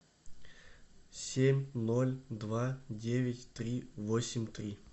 семь ноль два девять три восемь три